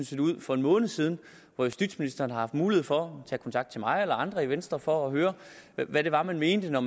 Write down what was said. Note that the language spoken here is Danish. set ud for en måned siden og justitsministeren har haft mulighed for at tage kontakt til mig eller andre i venstre for at høre hvad det var vi mente når